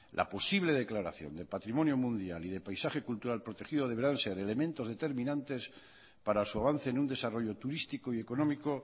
la posible declaración de patrimonio mundial y de paisaje cultural protegido deberán ser elementos determinantes para su avance en un desarrollo turístico y económico